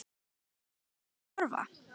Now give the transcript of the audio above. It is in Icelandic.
Á hvað eru þeir að horfa?